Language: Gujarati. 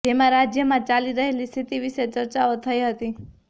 જેમાં રાજ્યમાં ચાલી રહેલી સ્થિતિ વિશે ચર્ચાઓ થઈ હતી